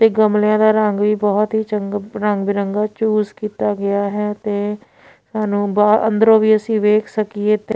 ਤੇ ਗਮਲਿਆਂ ਦਾ ਰੰਗ ਵੀ ਬਹੁਤ ਹੀ ਚੰਗ ਰੰਗ ਬਿਰੰਗਾ ਚੂਸ ਕੀਤਾ ਗਿਆ ਹੈ ਤੇ ਸਾਨੂੰ ਬਾ ਅੰਦਰੋਂ ਵੀ ਅਸੀਂ ਵੇਖ ਸਕੀਏ ਤੇ --